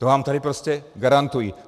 To vám tady prostě garantuji.